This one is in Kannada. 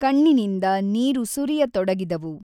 ಕಣ್ಣಿನಿಂದ ನೀರು ಸುರಿಯತೊಡಗಿದವು.